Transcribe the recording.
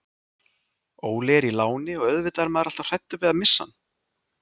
Óli er í láni og auðvitað er maður alltaf hræddur við að missa hann.